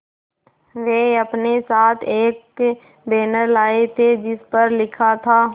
वे अपने साथ एक बैनर लाए थे जिस पर लिखा था